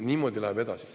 Niimoodi läheb edasi.